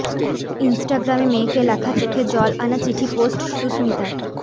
ইনস্টাগ্রামে মেয়েকে লেখা চোখে জল আনা চিঠি পোস্ট সুস্মিতার